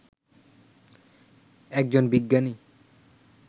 একজন বিজ্ঞানী